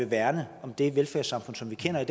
værne om det velfærdssamfund som vi kender i